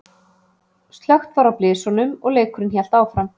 Slökkt var á blysunum og leikurinn hélt áfram.